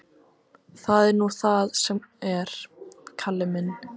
Það er nú það sem er, Kalli minn.